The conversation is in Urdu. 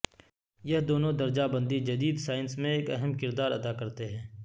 یہ دونوں درجہ بندی جدید سائنس میں ایک اہم کردار ادا کرتے ہیں